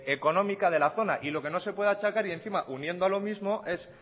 económica de la zona y lo que no se puede achacar y encima uniendo lo mismo es